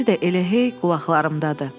Səsi də elə hey qulaqlarımdadır.